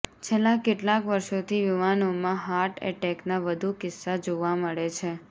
છેલ્લા કેટલાંક વર્ષોથી યુવાનોમાં હાર્ટ એટેકના વધુ કિસ્સા જોવા મળે છે